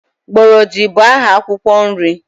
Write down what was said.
Gbọrọdị bụ aha akwụkwọ nri.